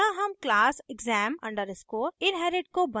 यहाँ हम class exam _ inherit को बंद करते हैं